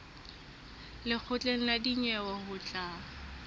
lekgotleng la dinyewe ho tla